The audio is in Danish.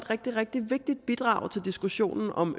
et rigtig vigtigt bidrag til diskussionen om